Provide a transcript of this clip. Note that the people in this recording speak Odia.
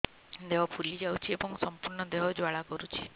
ଦେହ ଫୁଲି ଯାଉଛି ଏବଂ ସମ୍ପୂର୍ଣ୍ଣ ଦେହ ଜ୍ୱାଳା କରୁଛି